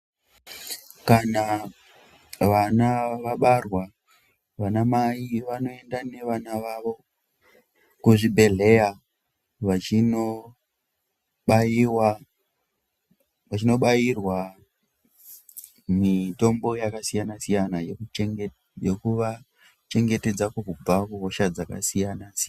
Kana vana vabarwa vanamai vanoenda nevana vavo kuzvibhedhleya vachinobairwa mitombo yakasiyana siyana yokuvachengetedza kubva kuhosha dzakasiyana siyana.